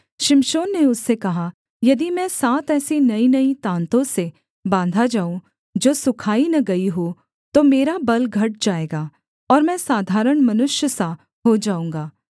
शिमशोन ने उससे कहा यदि मैं सात ऐसी नईनई ताँतों से बाँधा जाऊँ जो सुखाई न गई हों तो मेरा बल घट जाएगा और मैं साधारण मनुष्य सा हो जाऊँगा